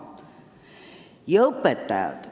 Ja nüüd veel õpetajad.